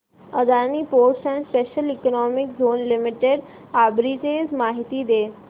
Adani ports and special economic zone limited arbitrage माहिती दे